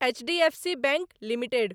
HDFC bank limited